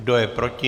Kdo je proti?